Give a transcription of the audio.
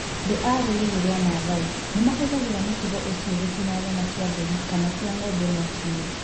Andũ a rũrĩrĩ rwa Maasai nĩ mahũthagĩra mũtugo ũcio gũcina nyama cia mbũri kana cia ng'ombe mwaki-inĩ.